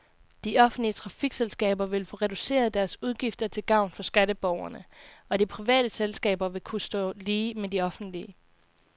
De offentlige trafikselskaber vil få reduceret deres udgifter til gavn for skatteborgerne, og de private selskaber vil kunne stå lige med de offentlige.